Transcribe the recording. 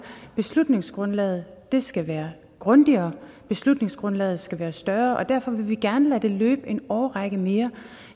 at beslutningsgrundlaget skal være grundigere at beslutningsgrundlaget skal være større og derfor vil vi gerne lade det løbe en årrække mere